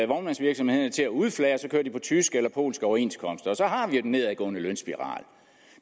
vognmandsvirksomhederne til at udflage og så kører de på tyske eller polske overenskomster og så har vi jo den nedadgående lønspiral